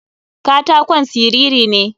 Katakon siriri ne.